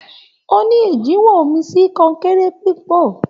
O ní ẹjẹwọn omí sí kọnkéré pipo.